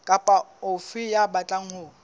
kapa ofe ya batlang ho